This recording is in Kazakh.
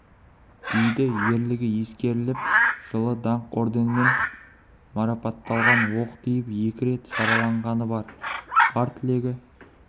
дейді ерлігі ескеріліп жылы даңқ орденімен марапатталған оқ тиіп екі рет жараланғаны бар бар тілегі